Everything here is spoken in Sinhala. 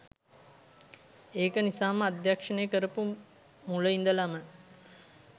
ඒක නිසාම අධ්‍යක්ෂණය කරපු මුල ඉදලම